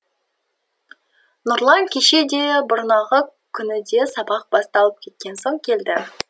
нұрлан кеше де бұрнағы күні де сабақ басталып кеткен соң келді